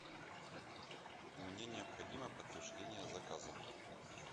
мне необходимо подтверждение заказа